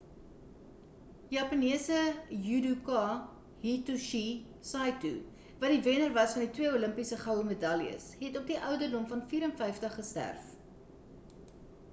japanese judoka hitoshi saito wat die wenner was van twee olimpiese goue medaljes het op die ouderdom van 54 gesterf